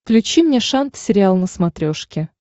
включи мне шант сериал на смотрешке